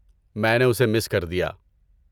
میں نے اسے مس کر دیا۔